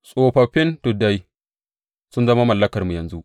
Tsofaffin tuddai sun zama mallakarmu yanzu.